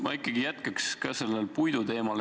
Ma ikkagi jätkan sellel puiduteemal.